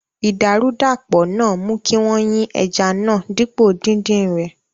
Idarudapo náà mú kí wọ́n yin ẹja náà dípò dídin rẹ̀.